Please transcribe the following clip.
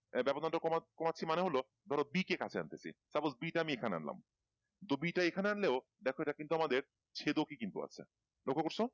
ব্যবধান টা কমাচ্ছি মানে হলো ধরো B কে কাছে আন্তে চেয়েছি suppose B টা আমি এখানে আনলাম তো B টা এখানে আনলেও দেখো কিন্তু এটা আমাদের চেদকি কিন্তু আছে লক্ষ্য করছো